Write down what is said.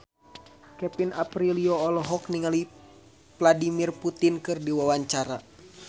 Kevin Aprilio olohok ningali Vladimir Putin keur diwawancara